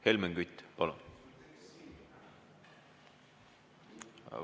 Helmen Kütt, palun!